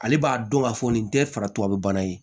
Ale b'a dɔn k'a fɔ nin tɛ fara tubabu bana ye